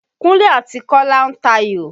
Kúnlé àti Kọ́lá ń tayò.